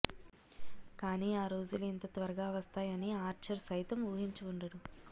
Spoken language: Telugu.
కానీ ఆ రోజులు ఇంత త్వరగా వస్తాయని ఆర్చర్ సైతం ఊహించి ఉండడు